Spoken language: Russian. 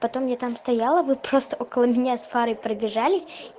потом я там стояла вы просто около меня с фарой пробежались